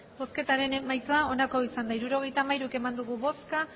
hirurogeita hamairu eman dugu bozka